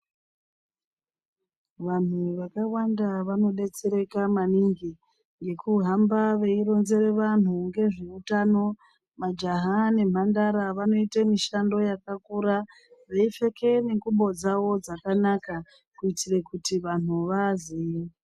Vanhu vakawanda vanodetsereka maningi ngekuhamba veironzere vanhu ngezveutano majaha nemhandara vanoite mishando yakakura veipfeke nengubo dzawo dzakanaka kuite kuti vanhu vaaziye.